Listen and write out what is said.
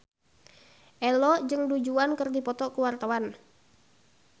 Ello jeung Du Juan keur dipoto ku wartawan